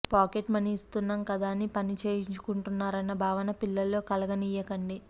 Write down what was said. pocket money ఇస్తున్నాం కదా అని పనిచేయించుకుంటున్నారన్న భావన పిల్లల్లో కలగనీయకండి